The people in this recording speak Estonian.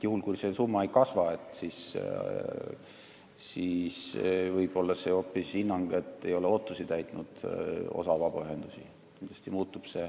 Juhul, kui see summa ei kasva, siis võib hinnang olla hoopis selline, et osa vabaühendusi ei ole ootusi täitnud.